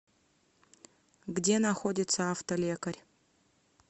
где находится автолекарь